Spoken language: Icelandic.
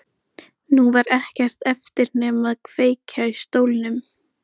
Nú var ekkert eftir nema að kveikja í stólnum.